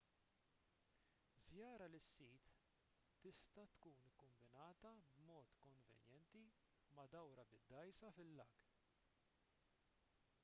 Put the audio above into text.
żjara lis-sit tista' tkun kkombinata b'mod konvenjenti ma' dawra bid-dgħajsa fil-lag